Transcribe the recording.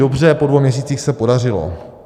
Dobře, po dvou měsících se podařilo.